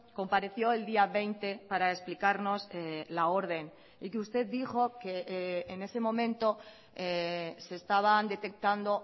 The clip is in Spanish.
compareció el día veinte para explicarnos la orden y que usted dijo que en ese momento se estaban detectando